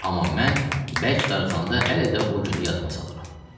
Amma mən bərk darıxanda hələ də o günü yadıma salıram.